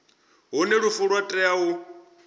hune lufu lwa tea u